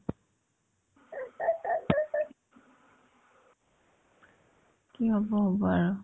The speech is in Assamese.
কি হ'ব হ'ব আৰু